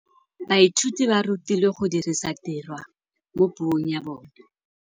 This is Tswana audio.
Baithuti ba rutilwe go dirisa tirwa mo puong ya bone.